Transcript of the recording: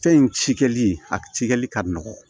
Fɛn in cikɛli a cikɛli ka nɔgɔ